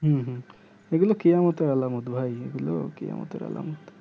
হুম হুম এগুলো কেয়ামতের আলামত ভাই এগুলো কেয়ামতের আলামত